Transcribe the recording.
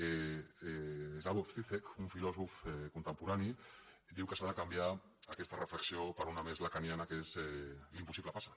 slavoj žižek un filòsof contemporani diu que s’ha de canviar aquesta reflexió per una més lacaniana que és l’impossible passa